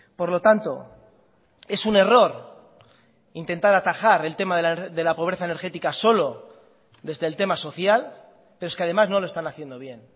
por lo tanto es un error intentar atajar el tema de la pobreza energética solo desde el tema social pero es que además no lo están haciendo bien